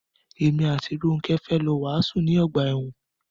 Èmi àti Rónkẹ́ fẹ́ lọ wàásù ní ọgbà ẹ̀wọn.